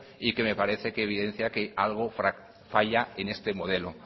y que me parece que evidencia que algo falla en este modelo